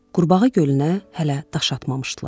Qurbağa gölünə hələ daş atmamışdılar.